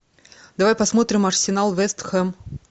давай посмотрим арсенал вест хэм